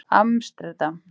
Amsterdam